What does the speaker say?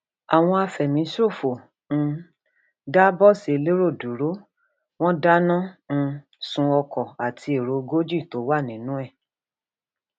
àwọn àfẹmíṣòfò um dà bọọsì elérò dúró wọn dáná um sun ọkọ àti èrò ogójì tó wà nínú ẹ